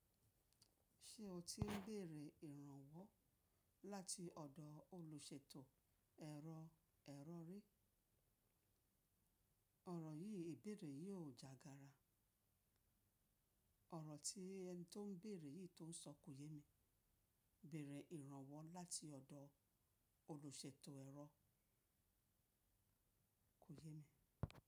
Ṣé o ti ń bèèrè ìrànwọ́ láti ọ̀dọ̀ olùṣètò ẹ̀rọ ẹ̀rọ ri? Ọ̀rọ̀ yìí ìbèèrè yìí ò jágara. Ọ̀rọ̀ tí ẹni tó ń bèèrè yìí tó ń sọ kò yémi. Béèrè ìrànwọ́ láti ọ̀dọ̀ olùṣètò ẹ̀rọ kò yémi.